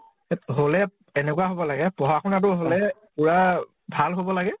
হʼলে এনেকুৱা হʼব লাগে । পঢ়া শুনা টো হʼলে, পুৰা ভাল হʼব লাগে